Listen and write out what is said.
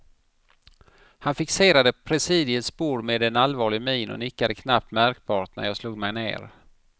Han fixerade presidiets bord med allvarlig min och nickade knappt märkbart när jag slog mig ner.